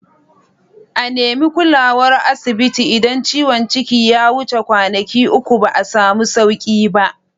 A nemi kulawar asibiti idan ciwon ciki ya wuce kwanaki uku ba samu sauku ba